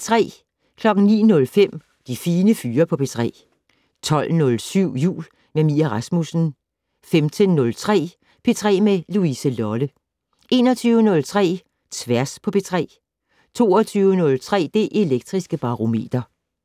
09:05: De Fine Fyre på P3 12:07: Jul med Mie Rasmussen 15:03: P3 med Louise Lolle 21:03: Tværs på P3 22:03: Det Elektriske Barometer